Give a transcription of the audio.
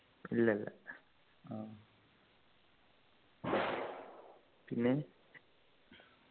ഇല്ല ല്ല പിന്നെ